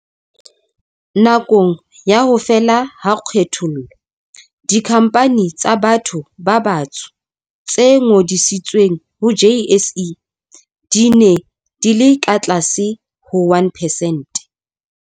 Nakong ya ho fela ha kgethollo, dikhampani tsa batho ba batsho tse ngodisitsweng ho JSE di ne di le ka tlase ho 1 percent.